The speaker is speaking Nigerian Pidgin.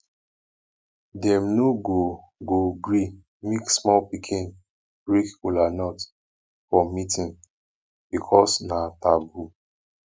dem no go go gree make small pikin break kolanut for meetin because na taboo